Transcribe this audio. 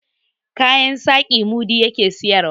kayan saƙi mudi ya ke siyarwa